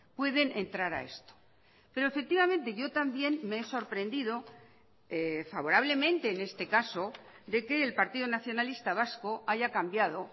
pueden entrar a esto pero efectivamente yo también me he sorprendido favorablemente en este caso de que el partido nacionalista vasco haya cambiado